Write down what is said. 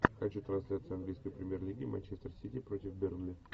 хочу трансляцию английской премьер лиги манчестер сити против бернли